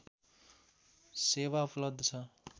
सेवा उपलब्ध छ